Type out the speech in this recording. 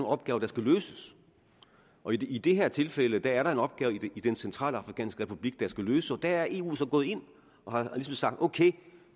opgaver der skal løses i det her tilfælde er der en opgave i den centralafrikanske republik der skal løses så der er eu gået ind og har ligesom sagt okay